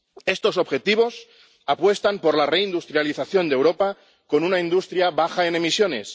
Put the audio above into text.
Estos objetivos apuestan por la reindustrialización de Europa con una industria baja en emisiones.